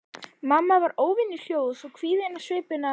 Mamma var óvenju hljóð og svo kvíðin á svipinn að